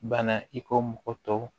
Bana i ko mɔgɔ tɔw